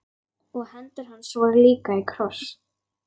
Og hendur hans voru líka í kross.